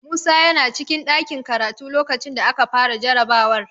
Musa yana cikin ɗakin karatu lokacin da aka fara jarabawar.